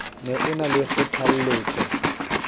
ne o na le kgothalletso